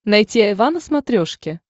найти айва на смотрешке